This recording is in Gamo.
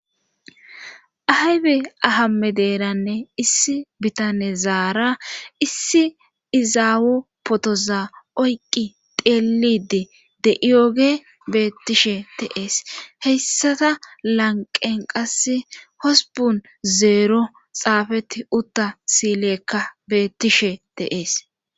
Aybe ahamme deeranne issi bitane zaara issi izaawo potoza oyqqi teelidi de iyooge beettishe teees heyssata lanqen qass hosbun zeero xaafeti utta sileekka beettishe teees